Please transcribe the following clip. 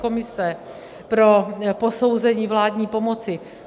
Komise pro posouzení vládní pomoci.